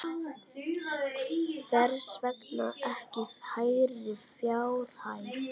Hvers vegna ekki hærri fjárhæð?